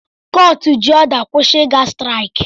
Kọọtụ jị ọda kwusi ha iga sịtịraịkị